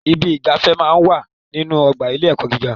Ibi ìgbáfẹ́ máá ń wà nínú ọgbà ilé-ẹ̀kọ́ gíga.